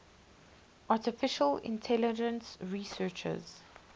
artificial intelligence researchers